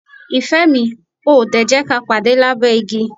Ìfẹ́ mi, o ò ò dè jẹ́ ka pàde lábẹ́ igi?